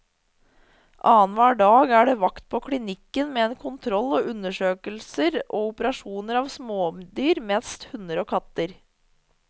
Annenhver dag er det vakt på klinikken med kontroll og undersøkelser og operasjoner av smådyr, mest hunder og katter.